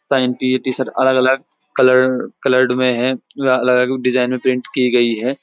Panty T-shirt अलग-अलग colour coloured मे हैं अलग-अलग डिजाइन मे पैंट कि गई है।